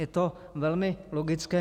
- Je to velmi logické.